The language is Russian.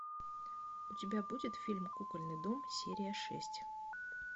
у тебя будет фильм кукольный дом серия шесть